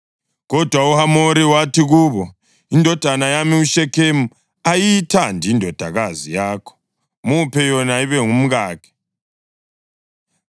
Kodwa uHamori wathi kubo, “Indodana yami uShekhemu uyayithanda indodakazi yakho. Muphe yona ibe ngumkakhe.